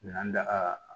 N'an da